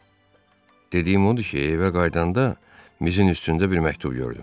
Dediyim odur ki, evə qayıdanda mizin üstündə bir məktub gördüm.